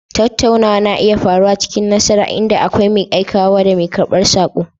Tattaunawa na iya faruwa cikin nasara, inda akwai mai aikawa da mai karɓar saƙo.